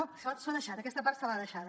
això s’ho ha deixat aquesta part se l’ha deixada